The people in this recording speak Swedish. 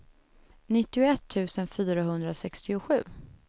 nittioett tusen fyrahundrasextiosju